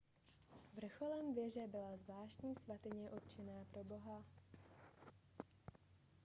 vrcholem věže byla zvláštní svatyně určená pro boha